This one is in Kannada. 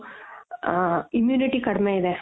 ಆ immunity ಕಡ್ಮೆ ಇದೆ